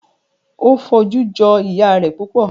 O foju joi iya rẹ pupọ